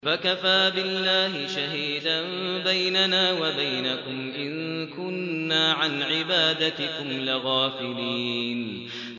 فَكَفَىٰ بِاللَّهِ شَهِيدًا بَيْنَنَا وَبَيْنَكُمْ إِن كُنَّا عَنْ عِبَادَتِكُمْ لَغَافِلِينَ